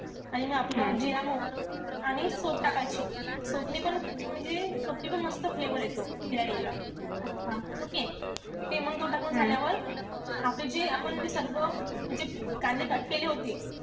आणि म आपलं जिरा आणि सोप टाकायची. सोप नि पण म्हणजे सोपनि पण मस्त flavor येतो बिर्याणीला okay? ते मंग तो टाकून झाल्यावर आपलं जे आपण जे सर्व म्हणजे कांदे cut केले होते.